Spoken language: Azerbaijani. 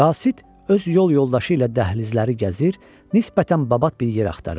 Qasid öz yol yoldaşı ilə dəhlizləri gəzir, nisbətən babat bir yer axtarırdı.